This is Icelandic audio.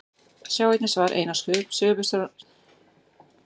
Sjá einnig svar Einars Sigurbjörnssonar við sömu spurningu.